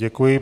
Děkuji.